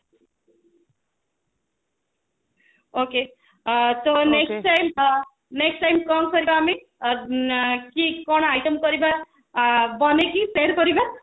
okey ଅ ତ next time next time କଣ କରିବା ଆମେ କଣ item କରିବା ବନେଇକି share କରିବା